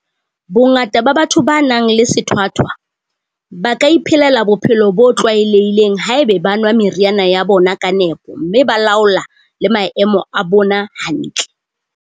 Bongata ba batho ba nang le sethwathwa ba ka iphelela bophelo bo tlwaelehileng haeba ba nwa meriana ya bona ka nepo mme ba laola le maemo a bona hantle.